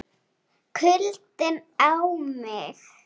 KULDINN á mig.